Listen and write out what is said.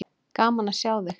Gaman að sjá þig.